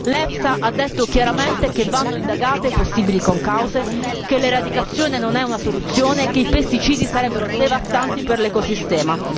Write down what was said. L'EFSA ha detto chiaramente che vanno indagate le possibili concause, che l'eradicazione non è una soluzione, che i pesticidi sarebbero devastanti per l'ecosistema.